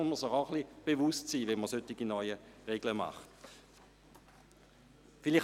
Dessen muss man sich bewusst sein, wenn man solche neuen Regeln aufstellt.